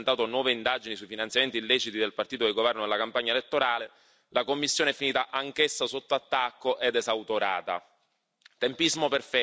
Purtroppo però, dopo aver presentato nuove indagini sui finanziamenti illeciti del partito del governo alla campagna elettorale, la commissione è finita anch'essa sotto attacco ed esautorata.